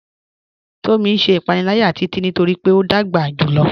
Tomí n ṣẹ̀ ìpànìlàyà Títití nítorí pé o dágbà júlọ̀.